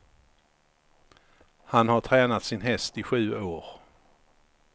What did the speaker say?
Han har tränat sin häst i sju år.